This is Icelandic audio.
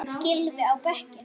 Gylfi á bekkinn?